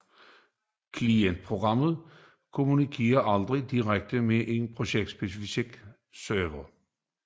Klientprogrammet kommunikerer aldrig direkte med en projektspecifik server